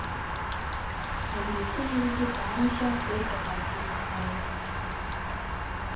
әлеуметтік желіде барынша фейк аккаунттан сақтаныңыз